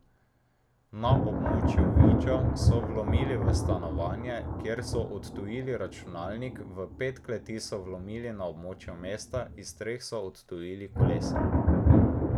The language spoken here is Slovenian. Na območju Viča so vlomili v stanovanje, kjer so odtujili računalnik, v pet kleti so vlomili na območju mesta, iz treh so odtujili kolesa.